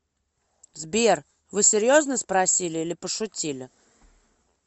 сбер вы серьезно спросили или пошутили